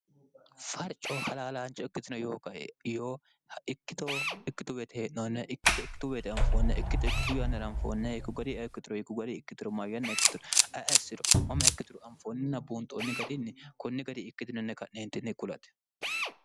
farcoo halaalaanchi okkitino yoogae yooikkitoo ikkituu weete hee'noonne ikkito ikkitu weete anfoonna ikkito ikkitu yaannira anfoonn yikku ga'ri eekkituro yiku gari ikkitiro ma yanna ikkitiro assiro mama ikkituru anfoonninna buunxoonni gariinni kunni gari ikkitinonne ka'neentinni kulati